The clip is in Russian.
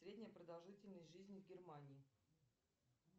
средняя продолжительность жизни в германии